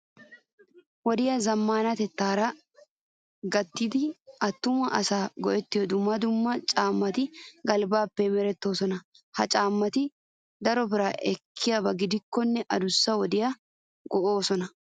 Wodiya zammaanatettaara gayttidaagan atumma asati go"ettiyo dumma dumma caammati galbbaappe merettoosona. Ha caammati daro biraa ekkiyaba gidikkonne adussa wodiya go"oosona.